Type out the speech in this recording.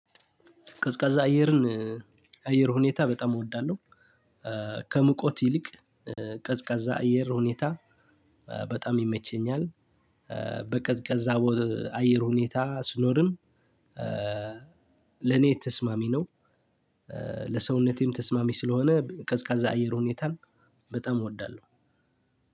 ቀዝቃዛ አየርን አየር ሁኔታ በጣም እወዳለሁ። ከምቆት ይልቅ ቀዝቃዛ አየር ሁኔታ በጣም ይመቸኛል። በቀዝቃዛ አየር ሁኔታ ስኖርም ለኔ ተስማሚ ነው። ለሰውነቴም ተስማሚ ስለሆነ ቀዝቃዛ አየር ሁኔታን በጣም እወዳለሁ።